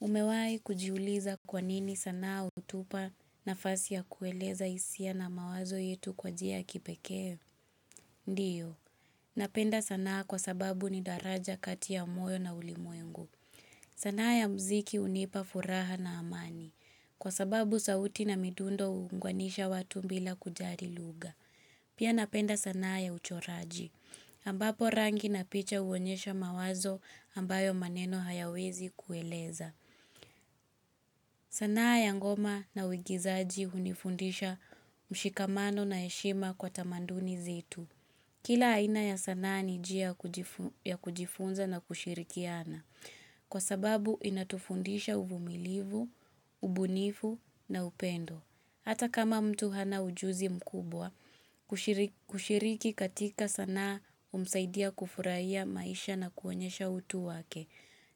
Umewai kujiuliza kwanini sanaa hutupa nafasi ya kueleza hisia na mawazo yetu kwa njia kipekee? Ndiyo. Napenda sanaa kwa sababu ni daraja katia moyo na ulimuengu. Sanaa ya mziki unipa furaha na amani. Kwa sababu sauti na midundo uungwanisha watu mbila kujari luga. Pia napenda sanaa ya uchoraji. Ambapo rangi na picha uonyesha mawazo ambayo maneno hayawezi kueleza. Sanaa ya ngoma na wigizaji hunifundisha mshikamano na yeshima kwa tamanduni zitu. Kila aina ya sanaa ni jia ya kujifunza na kushirikiana. Kwa sababu inatufundisha uvumilivu, ubunifu na upendo. Hata kama mtu hana ujuzi mkubwa, kushiriki katika sana umsaidia kufurahia maisha na kuonyesha utu wake.